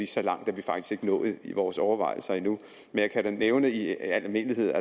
så langt er vi faktisk ikke nået i vores overvejelser endnu men jeg kan da nævne i al almindelighed